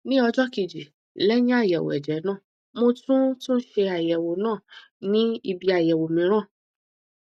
ní ọjọ kejì lẹyìn àyẹwò ẹjẹ náà mo tún tún ṣe àyẹwò náà ní ibi àyẹwò mìíràn